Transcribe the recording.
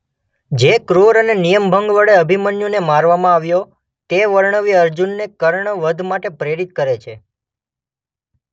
જે ક્રૂર અને નિયમભંગ વડે અભિમન્યુને મારવામાં આવ્યો તે વર્ણવી અર્જુનને કર્ણ વધ માટે પ્રેરિત કરે છે.